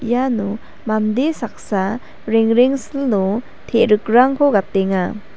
iano mande saksa rengrengsilo te·rikrangko gatenga.